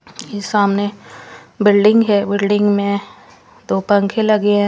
ये सामने बिल्डिंग है बिल्डिंग मे दो पंखे लगे है।